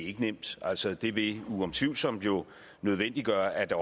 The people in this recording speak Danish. ikke nemt altså det vil jo utvivlsomt nødvendiggøre at der